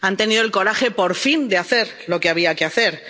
Han tenido el coraje, por fin, de hacer lo que había que hacer.